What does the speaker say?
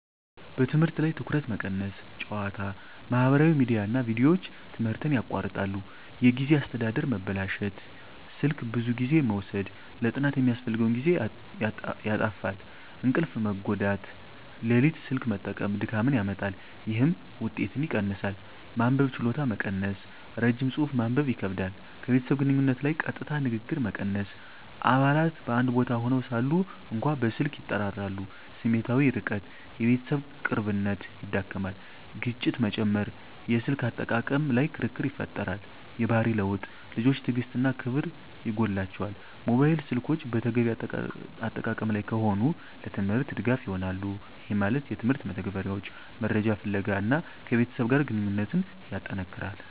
በትምህርት ላይ ትኩረት መቀነስ ጨዋታ፣ ማህበራዊ ሚዲያ እና ቪዲዮዎች ትምህርትን ያቋርጣሉ። የጊዜ አስተዳደር መበላሸት ስልክ ብዙ ጊዜ መውሰድ ለጥናት የሚያስፈልገውን ጊዜ ያጣፋፋል። እንቅልፍ መጎዳት ሌሊት ስልክ መጠቀም ድካምን ያመጣል፣ ይህም ውጤትን ይቀንሳል። መንበብ ችሎታ መቀነስ ረጅም ጽሑፍ ማንበብ ይከብዳል። ከቤተሰብ ግንኙነት ላይ ቀጥታ ንግግር መቀነስ አባላት በአንድ ቦታ ሆነው ሳሉ እንኳ በስልክ ይጠራራሉ። ስሜታዊ ርቀት የቤተሰብ ቅርብነት ይዳክመዋል። ግጭት መጨመር የስልክ አጠቃቀም ላይ ክርክር ይፈጠራል። የባህሪ ለውጥ ልጆች ትዕግሥት እና ክብር ይጎላቸዋል። ሞባይል ስልኮች በተገቢ አጠቃቀም ላይ ከሆኑ፣ ለትምህርት ድጋፍ ይሆናሉ (የትምህርት መተግበሪያዎች፣ መረጃ ፍለጋ) እና ከቤተሰብ ጋር ግንኙነትን ያጠነክራል።